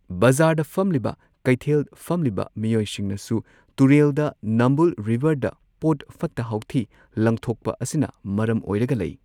ꯕꯖꯥꯔꯗ ꯐꯝꯂꯤꯕ ꯀꯩꯊꯦꯜ ꯐꯝꯂꯤꯕ ꯃꯤꯑꯣꯏꯁꯤꯡꯅꯁꯨ ꯇꯨꯔꯦꯜꯗ ꯅꯝꯕꯨꯜ ꯔꯤꯚꯔꯗ ꯄꯣꯠ ꯐꯠꯇ ꯍꯥꯎꯊꯤ ꯂꯪꯊꯣꯛꯄ ꯑꯁꯤꯅ ꯃꯔꯝ ꯑꯣꯏꯔꯒ ꯂꯩ꯫